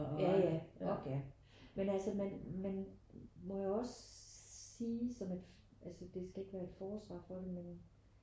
Ja ja ork ja men altså man man må jo også sige som et altså det skal ikke være et forsvar for det men